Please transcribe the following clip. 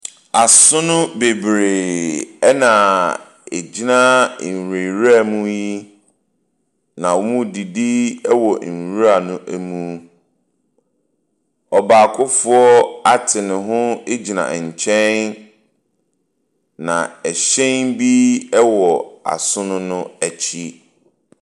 Asono bebree ɛna egyina enwura mu yi, na wɔredidi ɛwɔ nwura ne mu. Ɔbaakofoɔ ate ne ho egyina ɛnkyɛn na ɛhyɛn bi ɛwɔ asono no ɛkyi.